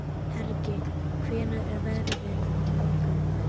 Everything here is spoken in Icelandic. Hergill, hvernig er veðrið á morgun?